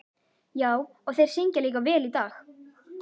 Já, og þeir syngja líka vel í dag.